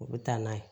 U bɛ taa n'a ye